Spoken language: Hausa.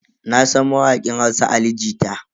Nasan mawakin Hausa Ali Jita.